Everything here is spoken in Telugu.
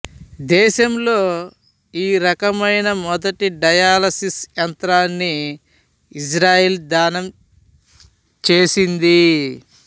దేశంలో ఈ రకమైన మొదటి డయాలసిసు యంత్రాన్ని ఇజ్రాయెలు దానం చేసింది